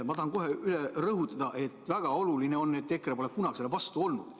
Ma tahan kohe üle rõhutada, et EKRE pole kunagi selle vastu olnud.